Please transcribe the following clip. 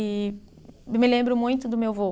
E me lembro muito do meu vô.